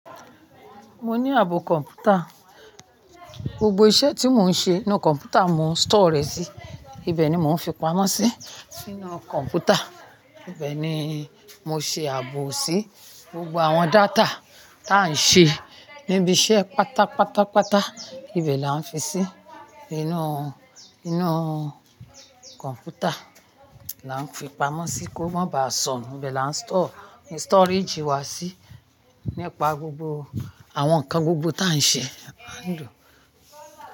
Mo ní ààbò kọ̀mpútà. Gbogbo iṣẹ́ tí mo ń ṣe inú kọ̀mpútà mo ń store rẹ̀ sí. Ibẹ̀ ni mò ń fi pamọ́ sí, sínú kọ̀mpútà. Ibẹ̀ ni mo ṣe ààbò sí. Gbogbo àwọn data tá à ń ṣe níbi iṣẹ́ pàtàpàtàpàtà, ibẹ̀ la ń fi sí. Inú, inú kọ̀mpútà la ń fi pamọ́ sí kó má baà sọnù. Ibẹ̀ la ń store, storage wá sí nípa gbogbo àwọn nǹkan gbogbo tá à ń ṣe, a ń lò.